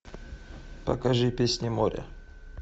покажи песни моря